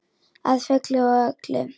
Að fullu og öllu.